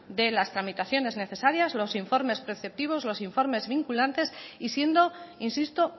de las tramitaciones necesarias los informes preceptivos los informes vinculantes y siendo insisto